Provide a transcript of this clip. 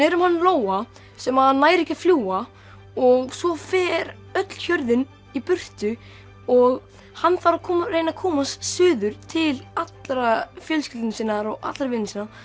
um hann Lóa sem að nær ekki að fljúga og svo fer öll hjörðin í burtu og hann þarf að reyna að komast suður til allrar fjölskyldunnar sinnar og allra vina sinna